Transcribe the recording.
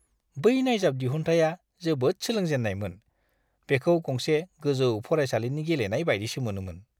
बै नायजाब दिहुनथाया जोबोद सोलोंजेन्नायमोन। बेखौ गंसे गोजौ फरायसालिनि गेलेनाय बायदिसो मोनोमोन।